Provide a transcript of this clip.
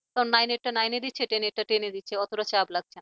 কারণ nine টা nine নে দিচ্ছে আর ten টা টেনে দিচ্ছে অতটা চাপ লাগছে না।